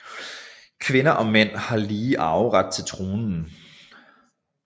Kvinder og mænd har lige arveret til tronen